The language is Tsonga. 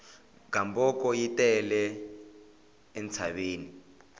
gamboko yi tele entshaveni